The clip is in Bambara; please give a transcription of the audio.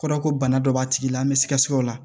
O kɔrɔ ko bana dɔ b'a tigi la an bɛ sikaso la